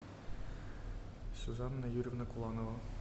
сюзанна юрьевна куланова